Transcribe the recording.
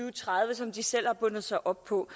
og tredive som de selv har bundet sig op på